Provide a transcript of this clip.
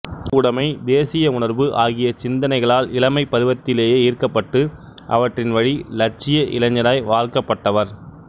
பொதுவுடமை தேசிய உணர்வு ஆகிய சிந்தனைகளால் இளமைப் பருவத்திலேயே ஈர்க்கப்பட்டு அவற்றின் வழி இலட்சிய இளைஞராய் வார்க்கப்பட்டவர்